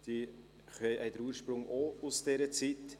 Diese haben ihren Ursprung auch in dieser Zeit.